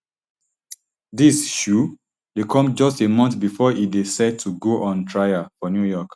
dis um dey come just a month bifor e dey set to go on trial for new york